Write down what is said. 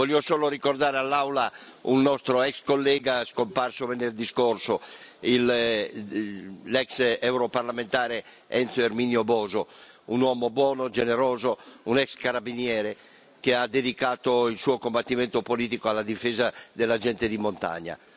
Voglio solo ricordare all'Aula un nostro ex collega scomparso venerdì scorso, l'ex europarlamentare Enzo Erminio Boso, un uomo buono, generoso, un ex carabiniere che ha dedicato il suo combattimento politico alla difesa della gente di montagna.